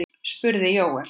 spurði Jóel.